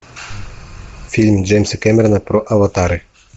фильм джеймса кэмерона про аватары